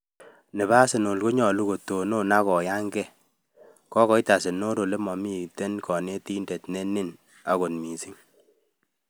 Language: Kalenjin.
Nepo Arsenal konyolu kotonon ag koyan ke. Kokoit arsenal Olemokinke konetindet ne nin kot missing.